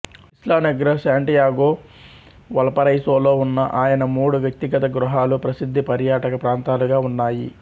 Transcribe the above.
ఇస్లా Negra Santiago వల్పరైసోలో ఉన్న ఆయన మూడు వ్యక్తిగత గృహాలు ప్రసిద్ధ పర్యాటక ప్రాంతాలుగా ఉన్నాయి